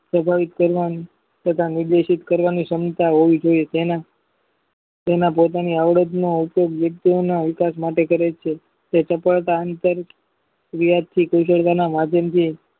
સ્વાભાવિત કરવા તથા નિર્દેશિત કરવા ની ક્ષમતા હોવી જોઇએ તેમાં પોતાની આવડત માં વિકાસ માટે કરેલ છે ક્રિયા થી ગુજારવાના માધ્યમ થી